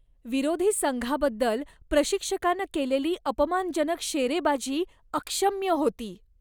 विरोधी संघाबद्दल प्रशिक्षकानं केलेली अपमानजनक शेरेबाजी अक्षम्य होती.